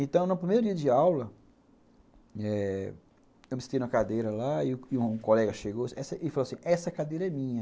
Então, no primeiro dia de aula eh eu me senti na cadeira lá e um colega chegou e falou assim, essa cadeira é minha.